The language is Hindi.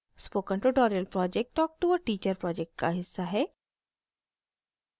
spoken tutorial project talk to a teacher project का हिस्सा है